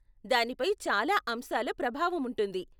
దానిపై చాలా అంశాల ప్రభావం ఉంటుంది.